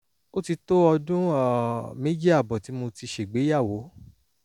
ó ti tó ọdún um méjì ààbọ̀ tí mo ti ṣègbéyàwó